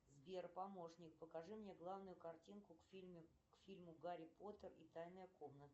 сбер помощник покажи мне главную картинку к фильму гарри поттер и тайная комната